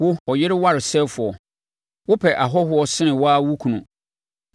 “ ‘Wo, ɔyere waresɛefoɔ, wopɛ ahɔhoɔ sene wo ara wo kunu!